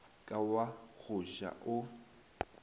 ka wa go ja o